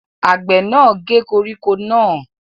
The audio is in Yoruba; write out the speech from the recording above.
Àgbẹ̀ náà gé koríko náà?